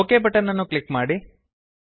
okay button ಅನ್ನು click ಮಾಡಿ